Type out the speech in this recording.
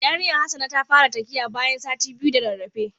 Yarinyan Hassana ta fara takiya bayan sati biyu da rarrafe.